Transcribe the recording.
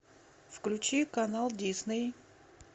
включи канал дисней